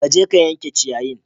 Ka je ka yanke ciyayin!